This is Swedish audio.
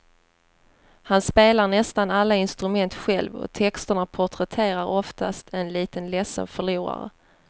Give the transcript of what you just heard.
Han spelar nästan alla instrument själv och texterna porträtterar oftast en liten ledsen förlorare.